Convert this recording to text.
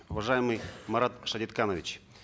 уважаемый марат шадетханович